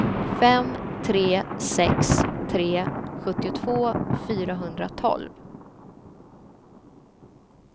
fem tre sex tre sjuttiotvå fyrahundratolv